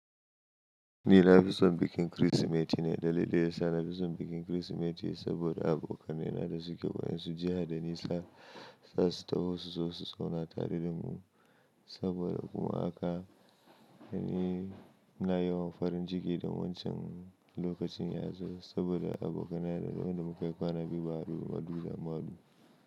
Ni na fi son bikin Kirsimeti ne, dalilin yasa da na fi son bikin Kirsimeti saboda abokanai da suke wayansu jiha da nisa za su taho su zo su zauna tare da mu. Saboda kuma haka ni na yawan farin ciki da wancan lokacin ya zo saboda abokanai da duk da muka yi kwana biyu, ba gadu bah.